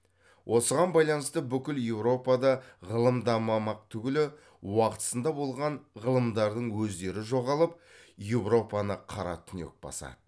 осыған байланысты бүкіл еуропада ғылым дамымақ түгілі уақытысында болған ғылымдардың өздері жоғалып еуропаны қара түнек басады